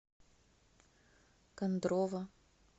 кондрово